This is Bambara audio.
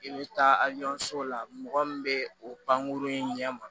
I bɛ taa ali sow la mɔgɔ min bɛ o pankurun in ɲɛma